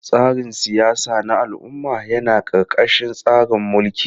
Tsarin siyasa na al'umma yana ƙarƙashin tsarin mulki.